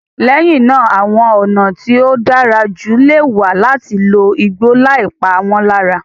Lẹ́yìn náà, àwọn ọ̀nà tí ó dára jù lè wà láti lo igbó láì pa wọ́n lára.